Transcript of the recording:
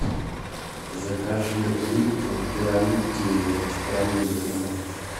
закажи липтон пирамидки с карамелью домой